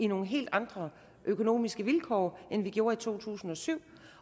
nogle helt andre økonomiske vilkår end vi gjorde i to tusind og syv